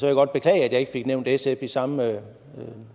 jeg godt beklage at jeg ikke fik nævnt sf i samme